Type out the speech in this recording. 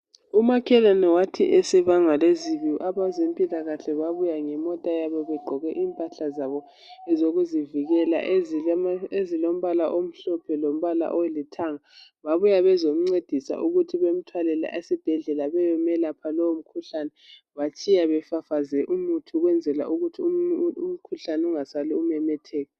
Umakhelwane wathi esebangwa lezibi abezempilakahle babuya ngemota yabo begqoke impahla zabo ezokuzivikela ezilombala omhlophe lombala olithanga babuya bezomncedisa ukuthi bemthwalele esibhedlela bayemelapha lowo mkhuhlane batshiya befafaze umuthi ukwenzela ukuthi umkhuhlane ungasali umemetheka.